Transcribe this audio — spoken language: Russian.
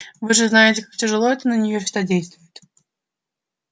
вы же знаете как тяжело это на нее всегда действует